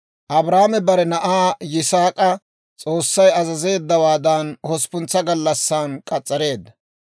Abrahaame bare na'aa Yisaak'a S'oossay azazeeddawaadan hosppuntsa gallassan k'as's'areedda.